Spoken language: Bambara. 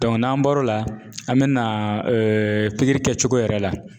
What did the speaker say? n'an bɔr'o la an bina kɛcogo yɛrɛ la.